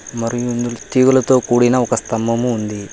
మరియు తీగలతో కూడిన ఒక స్తంభం ఉంది.